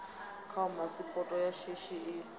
khao phasipoto ya shishi i